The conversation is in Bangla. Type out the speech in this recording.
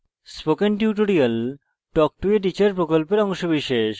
spoken tutorial talk to a teacher প্রকল্পের অংশবিশেষ